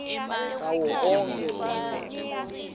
tawo wonkhe umuntfu